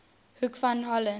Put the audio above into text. hoek van holland